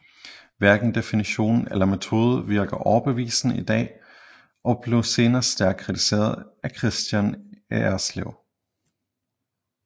Hverken definition eller metode virker overbevisende i dag og blev senere stærkt kritiseret af Kristian Erslev